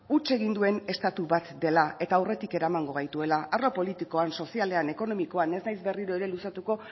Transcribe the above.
huts egin duen estatu bat dela eta aurretik eramango gaituela arlo politikoan sozialean ekonomian ez naiz berriro ere luzatuko